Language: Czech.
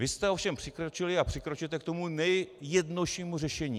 Vy jste ovšem přikročili a přikročujete k tomu nejjednoduššímu řešení.